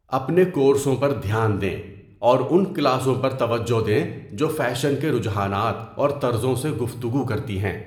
اپنے کورسوں پر دھیان دیں، اور ان کلاسوں پر توجہ دیں جو فیشن کے رجحانات اور طرزوں سے گفتگو کرتی ہیں۔